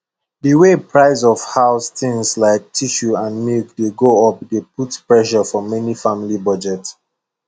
the way price of house things like tissue and milk dey go up dey put pressure for many family budget